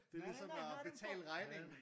Det er ligesom at betale regningen